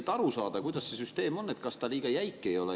Selleks, et aru saada, kuidas see süsteem on, kas ta liiga jäik ei ole.